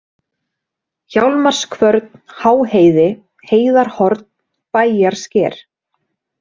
Hjálmarskvörn, Háheiði, Heiðarhorn, Bæjarsker